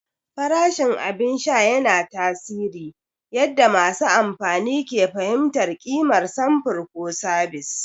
Farashin abin sha yana tasiri yadda masu amfani ke fahimtar ƙimar samfur ko sabis.